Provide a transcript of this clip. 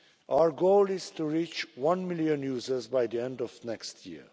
Our goal is to reach one million users by the end of next year.